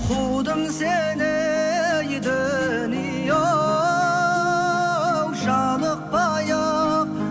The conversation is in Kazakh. қудым сені ей дүние оу жалықпай ақ